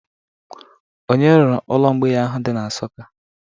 Onye rụrụ ụlọ mgbei ahụ dị na Nsụka?